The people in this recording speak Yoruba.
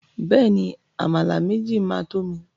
Bẹ́ẹ̀ni, Àmàlà méjì máa to mi.